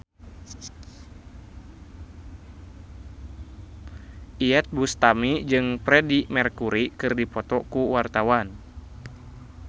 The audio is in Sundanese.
Iyeth Bustami jeung Freedie Mercury keur dipoto ku wartawan